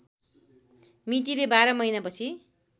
मितिले बाह्र महिनापछि